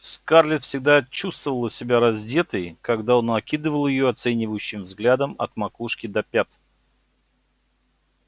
скарлетт всегда чувствовала себя раздетой когда он окидывал её оценивающим взглядом от макушки до пят